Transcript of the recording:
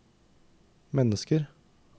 mennesker